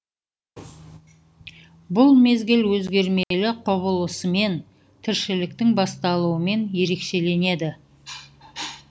бұл мезгіл өзгермелі құбылысымен тіршіліктің басталуымен ерекшеленеді